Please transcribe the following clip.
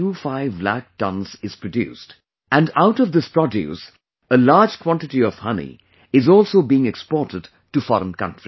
25 lakh tons isproduced, and out of this produce a large quantity of honey is also being exported to foreign countries